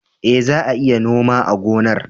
E, za a iya noma a gonar